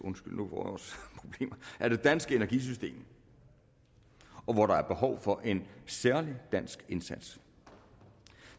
af det danske energisystem og hvor der er behov for en særlig dansk indsats